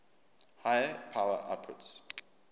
high power outputs